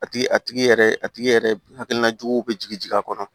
A tigi a tigi yɛrɛ a tigi yɛrɛ hakilina juguw bɛ jigin a kɔnɔ